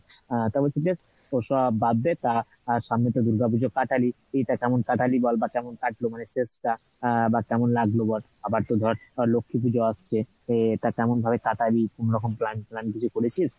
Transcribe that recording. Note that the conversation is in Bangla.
আহ তবে ওসব বাদ দে তা সামনে তো দুর্গা পূজা কাটালি, তা কেমন কাটলি বল বা কেমন কাটলো মানে শেষ টা আহ বা কেমন লাগলো বল? আবার তো ধর লক্ষ্মী পুজো আসছে তা কেমন ভাবে কাটাবি কোনো রকম plan ট্যান কিছু করেছিস?